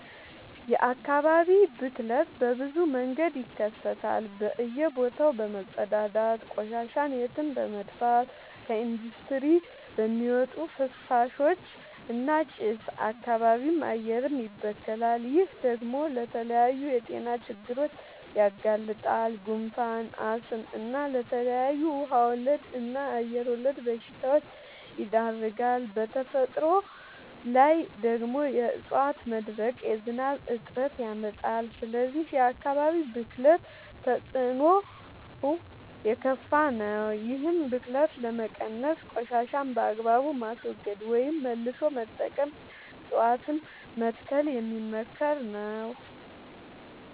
የአካባቢ ብክለት በብዙ መንገድ ይከሰታል በእየ ቦታው በመፀዳዳት፤ ቆሻሻን የትም በመድፍት፤ ከኢንዲስትሪ በሚወጡ ፍሳሾች እና ጭስ አካባቢም አየርም ይበከላል። ይህ ደግሞ ለተለያዩ የጤና ችግሮች ያጋልጣል። ጉንፋን፣ አስም እና ለተለያዩ ውሃ ወለድ እና አየር ወለድ በሽታወች ይዳርጋል። በተፈጥሮ ላይ ደግሞ የዕፀዋት መድረቅ የዝናብ እጥረት ያመጣል። ስለዚህ የአካባቢ ብክለት ተፅዕኖው የከፋ ነው። ይህን ብክለት ለመቀነስ ቆሻሻን በአግባቡ ማስወገድ ወይም መልሶ መጠቀም እፀዋትን መትከል የሚመከር ነው።